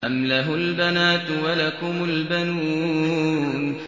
أَمْ لَهُ الْبَنَاتُ وَلَكُمُ الْبَنُونَ